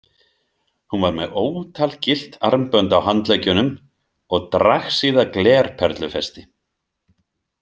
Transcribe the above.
Hún var með ótal gyllt armbönd á handleggjunum og dragsíða glerperlufesti.